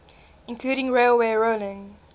including railway rolling